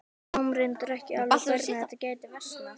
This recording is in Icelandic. Við sáum reyndar ekki alveg hvernig þetta gæti versnað.